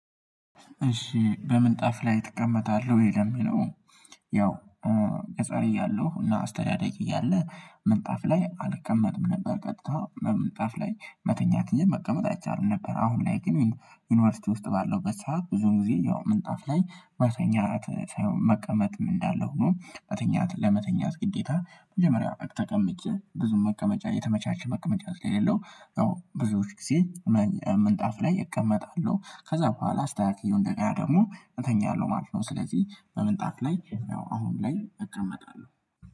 እሺ በምን ጣፍ ላይ እቀመጣለሁ ወይ ለሚለው? ያው ህፃን እያለሁ እና አስተዳደግ እያለ ምንጣፍ ላይ አልቀመጥም ነበር ቀጥታ ምንጣፍ ላይ መተኛት እንጅ መቀመጥ አይቻልም ነበር። አሁን ላይ ግን ዩኒቨርሲቲ ውስጥ ባለው በሰአት ብዙን ጊዜ ያው ምንጣፍ ላይ መተኛት ሳይሆን መቀመጥም እንዳለ ሆኖ መተኛት ለመተኛት ግዴታ መጀመሪያ በቂ ተቀምጬ ብዙ መቀመጫ የተመቻቸ መቀመጫ ስለሌለው ብዙዎች ጊዜ ምንጣፍ ላይ እቀመጣለሁ ከዛ በኋላ አስተካክየው እንደገና ደግሞ እተኛለሁ ማለት ነው። ስለዚህ በምንጣፍ ላይ አሁን ላይ እቀመጣለሁ